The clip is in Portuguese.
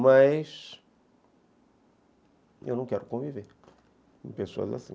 Mas eu não quero conviver com pessoas assim.